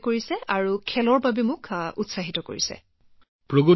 মোদী জীঃ ঠিক আছে আপোনালোক চাৰিওজনে যদি মোক কিবা এটা কব বিচাৰে মই শুনিব বিচাৰো